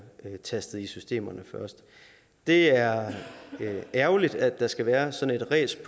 tastet ind i systemerne det er ærgerligt at der skal være sådan et ræs i